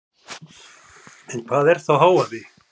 En hvað er þá hávaði?